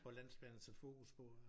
For landsplan at sætte fokus på ja